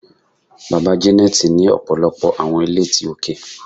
Baba Janet ni ọpọlọpọ awọn ile ti oke